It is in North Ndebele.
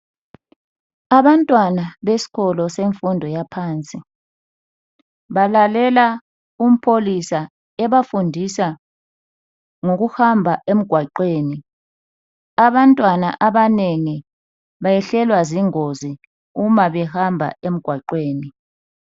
Abantwana besikolo semfundo yaphansi balalela umpholisa ebafundisa ngokuhamba emgwaqweni abantwana abanengi bayehlelwa zingozi uma behamba emgwaqweni.